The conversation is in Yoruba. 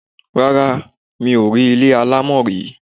Rárá, mi ò rí ilé alámọ̀ rí.